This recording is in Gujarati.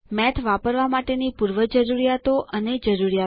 મેથ વાપરવા માટેની પૂર્વજરૂરીયાતો અને જરૂરીયાતો